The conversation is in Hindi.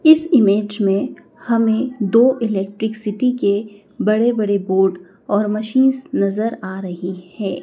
इस इमेज में हमें दो इलेक्ट्रिक सिटी के बड़े बड़े बोर्ड और मशीन्स नजर आ रही है।